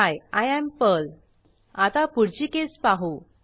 he I am Pearl आता पुढची case पाहू